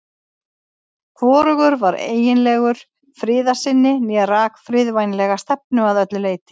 Hvorugur var eiginlegur friðarsinni né rak friðvænlega stefnu að öllu leyti.